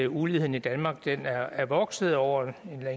uligheden i danmark er vokset over